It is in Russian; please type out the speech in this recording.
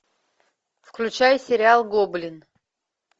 включай сериал гоблин